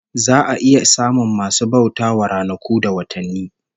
Za a iya samun masu bauta wa ranaku da watanni